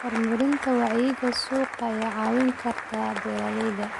Horumarinta wacyiga suuqa ayaa caawin karta beeralayda.